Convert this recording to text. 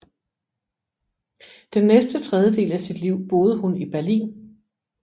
Den næste tredjedel af sit liv boede hun i Berlin